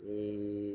Ne ye